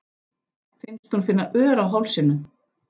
Finnst hún finna ör á hálsinum.